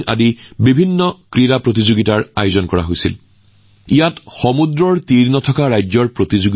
এইবোৰত tug of war ছি swimming পেনচাকচিলাট Mallakhamb beach volleyball beach kabaddi beach football beach boxing আদি প্ৰতিযোগিতা অনুষ্ঠিত হৈছিল